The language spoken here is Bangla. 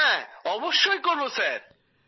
হ্যাঁ অবশ্যই করব স্যার